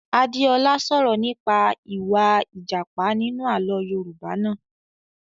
Adé ọlá sọ̀rọ̀ nípa ìwà a Ìjàpá nínú àlọ́ Yorùbá naa